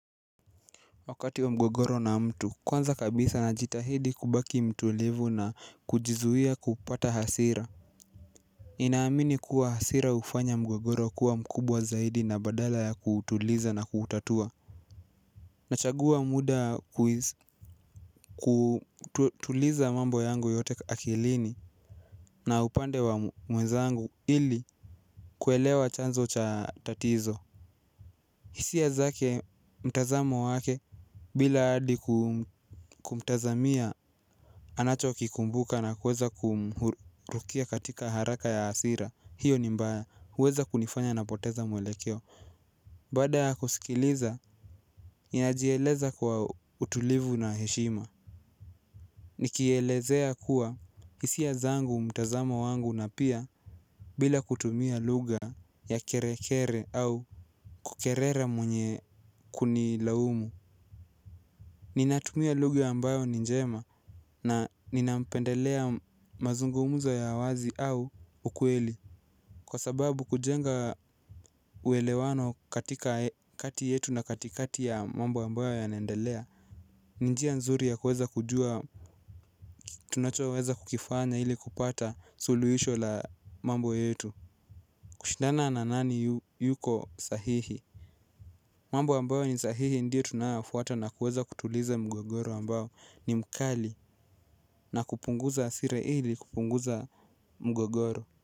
Wakati wa mgogoro na mtu kwanza kabisa najitahidi kubaki mtulivu na kujizuia kupata hasira ninaamini kuwa hasira hufanya mgogoro kuwa mkubwa zaidi na badala ya kutuuliza na kutatua. Nachagua muda kutuliza mambo yangu yote akilini na upande wa mwezangu ili kuelewa chanzo cha tatizo. Hisia zake mtazamo wake bila hadi kumtazamia anacho kikumbuka na kuweza kumhurukia katika haraka ya hasira. Hio ni mbaya huweza kunifanya na poteza mwelekeo. Baada ya kusikiliza ninajieleza kwa utulivu na heshima. Nikielezea kuwa hisia zangu mtazamo wangu na pia bila kutumia lugha ya kerekere au kukerera mwenye kuni laumu ninatumia lugh ambayo ni njema na nina pendelea mazungumuzo ya wazi au ukweli. Kwa sababu kujenga uelewano katika kati yetu na katikati ya mambo ambayo yanendelea ninjia nzuri ya kuweza kujua tunacho weza kukifanya ili kupata suluhisho la mambo yetu. Kushidana na nani yuko sahihi. Mambo ambayo ni sahihi ndio tunayoyafuata na kuweza kutuliza mgogoro ambao ni mkali na kupunguza hasira ili kupunguza mgogoro.